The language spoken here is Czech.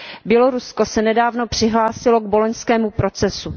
Bělorusko se nedávno přihlásilo k boloňskému procesu.